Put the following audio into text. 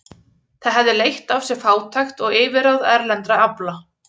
Það hefði leitt af sér fátækt og yfirráð erlendra afla.